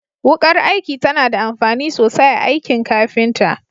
Wukar aiki tana da amfani sosai a aikin kafinta.